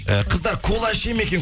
і қыздар кола іше ме екен